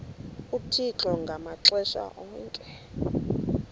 uthixo ngamaxesha onke